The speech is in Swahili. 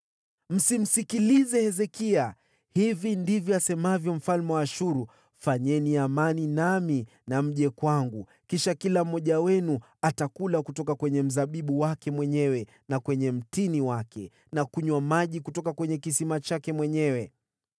“Msimsikilize Hezekia. Hili ndilo mfalme wa Ashuru asemalo: Fanyeni amani nami na mje kwangu. Kisha kila mmoja wenu atakula kutoka kwa mzabibu wake na mtini wake mwenyewe, na kunywa maji kutoka kisima chake mwenyewe,